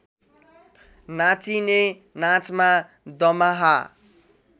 नाचिने नाचमा दमाहा